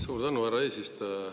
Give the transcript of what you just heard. Suur tänu, härra eesistuja!